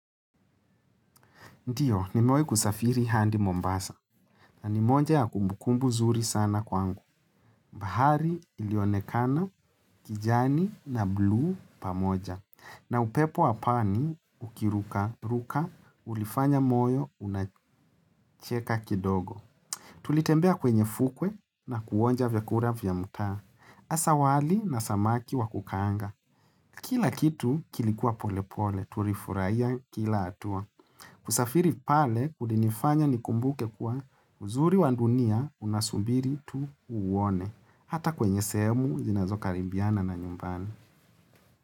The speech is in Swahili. Ndiyo, nimewahi kusafiri handi Mombasa. Na ni moja ya kumbukumbu zuri sana kwangu. Bahari ilionekana kijani na bluu pamoja. Na upepo wapani ukiruka ruka ulifanya moyo unacheka kidogo. Tulitembea kwenye fukwe na kuonja vyakura vya mtaa. Asa wali na samaki wakukaanga. Kila kitu kilikuwa pole pole, tulifurahia kila hatua. Kusafiri pale kulinifanya nikumbuke kuwa uzuri wa dunia unasubiri tu uuone hata kwenye sehemu zinazo karibiana na nyumbani.